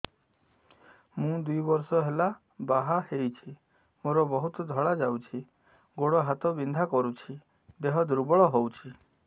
ମୁ ଦୁଇ ବର୍ଷ ହେଲା ବାହା ହେଇଛି ମୋର ବହୁତ ଧଳା ଯାଉଛି ଗୋଡ଼ ହାତ ବିନ୍ଧା କରୁଛି ଦେହ ଦୁର୍ବଳ ହଉଛି